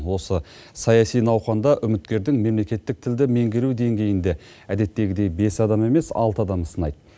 осы саяси науқанда үміткердің мемлекеттік тілді меңгеру деңгейін де әдеттегідей бес адам емес алты адам сынайды